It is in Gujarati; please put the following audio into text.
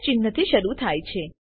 ચિન્હથી શરુ થાય છે